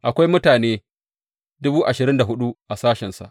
Akwai mutane dubu ashirin da hudu a sashensa.